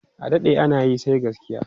adaɗe anayi sai gaskiya!